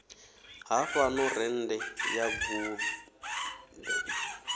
ha fhano rennde ya guṱe